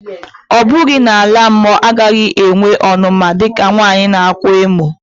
Ọ̀ bughi na-ala-mọ agaghi-enwe ọnuma dika nwanyi nākwa emò?